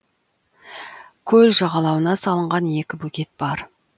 көл жағалауына салынған екі бөгет бар